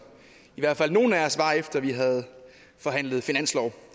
i hvert fald nogle af os var efter at vi havde forhandlet finanslov